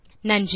நன்றி